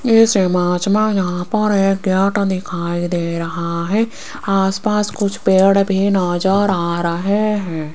ऐसे यहां पर एक याट दिखाई दे रहा हैं आसपास कुछ पेड़ भी नजर आ रहे हैं।